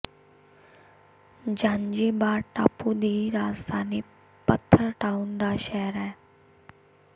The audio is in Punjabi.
ਜ਼ਾਂਜ਼ੀਬਾਰ ਟਾਪੂ ਦੀ ਰਾਜਧਾਨੀ ਪੱਥਰ ਟਾਊਨ ਦਾ ਸ਼ਹਿਰ ਹੈ